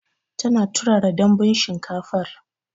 Tana turara Danbun shinkafar